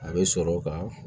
A bɛ sɔrɔ ka